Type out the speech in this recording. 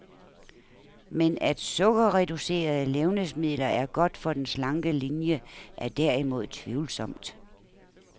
Men at sukkerreducerede levnedsmidler er godt for den slanke linie, er derimod tvivlsomt.